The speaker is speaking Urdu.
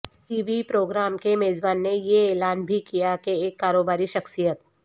ٹی وی پروگرام کے میزبان نے یہ اعلان بھی کیا کہ ایک کاروباری شخصیت